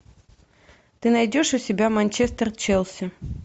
ты найдешь у себя манчестер челси